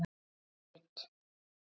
Tinna Rut.